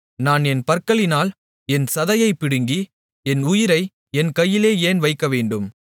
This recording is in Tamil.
நான் என் பற்களினால் என் சதையைப் பிடுங்கி என் உயிரை என் கையிலே ஏன் வைக்கவேண்டும்